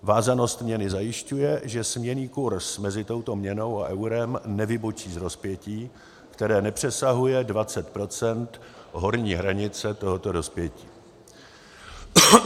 vázanost měny zajišťuje, že směnný kurz mezi touto měnou a eurem nevybočí z rozpětí, které nepřesahuje 20 % horní hranice tohoto rozpětí;